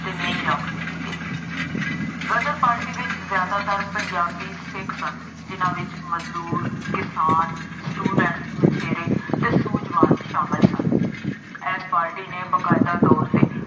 ਅਤੇ ਨੀਂਹ ਰੱਖ ਦਿੱਤੀ ਗਈ। ਗਦਰ ਪਾਰਟੀ ਵਿੱਚ ਜ਼ਿਆਦਾਤਰ ਪੰਜਾਬੀ ਸਿੱਖ ਸਨ। ਜਿੰਨ੍ਹਾ ਵਿੱਚ ਮਜ਼ਦੂਰ, ਕਿਸਾਨ, student ਮਛੇਰੇ ਅਤੇ ਸੂਝਵਾਨ ਸ਼ਾਮਿਲ ਸਨ। ਇਸ ਪਾਰਟੀ ਨੇ ਬਕਾਇਦਾ ਤੌਰ ਤੇ